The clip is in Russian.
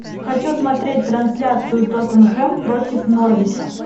хочу смотреть трансляцию тоттенхэм против норвича